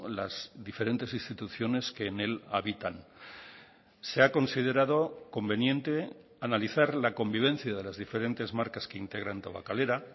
las diferentes instituciones que en él habitan se ha considerado conveniente analizar la convivencia de las diferentes marcas que integran tabakalera